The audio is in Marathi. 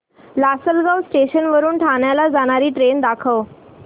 लासलगाव स्टेशन वरून ठाण्याला जाणारी ट्रेन दाखव